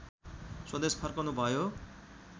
स्वदेश फर्कनुभयो